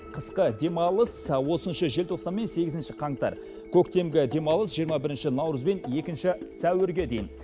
қысқы демалыс отызыншы желтоқсан мен сегізінші қаңтар көктемгі демалыс жиырма бірінші наурыз бен екінші сәуірге дейін